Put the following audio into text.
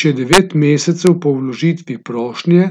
Če devet mesecev po vložitvi prošnje,